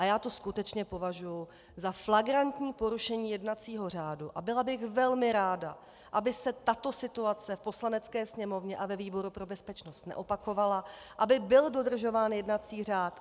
A já to skutečně považuji za flagrantní porušení jednacího řádu a byla bych velmi ráda, aby se tato situace v Poslanecké sněmovně a ve výboru pro bezpečnost neopakovala, aby byl dodržován jednací řád.